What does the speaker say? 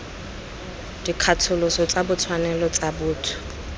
dikgatholoso tsa ditshwanelo tsa botho